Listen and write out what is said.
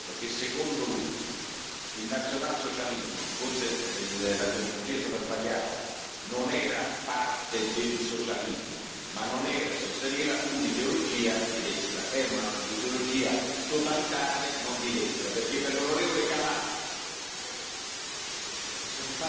Ha ribadito, nel suo intervento, che secondo lui il nazionalsocialismo forse la terminologia è stata sbagliata non era parte del socialismo, ma non era, sosteneva, un'ideologia di destra, era un'ideologia totalitaria, non di destra, perché per l'onorevole Kamal...